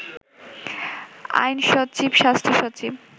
আইনসচিব, স্বাস্থ্যসচিব